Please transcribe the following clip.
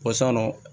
Ko san nɔ